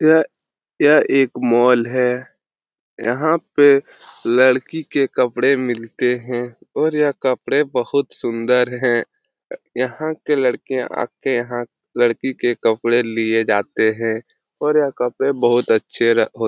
यह एक मॉल है यहां पे लडकी के कपड़े मिलते हैऔर यहां कपड़े बहुत सुन्दर है यहां के लडके आके यहां लडकी के कपडे लेके जाते है और यह कपड़े बहुत अच्छे!